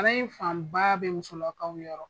fanba bɛ musolakaw yɔrɔ.